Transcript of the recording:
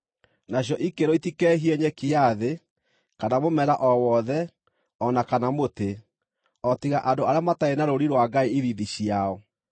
Nacio ikĩĩrwo itikeehie nyeki ya thĩ, kana mũmera o wothe o na kana mũtĩ, o tiga andũ arĩa matarĩ na rũũri rwa Ngai ithiithi ciao.